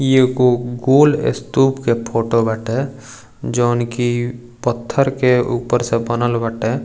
इ एगो गोल स्तूप के फोटो बाटे जॉन कि पत्थर के ऊपर से बनल बाटे।